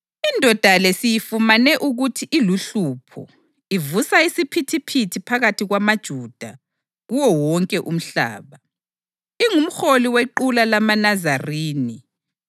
Indoda le siyifumane ukuthi iluhlupho, ivusa isiphithiphithi phakathi kwamaJuda kuwo wonke umhlaba. Ingumholi wequla lamaNazarini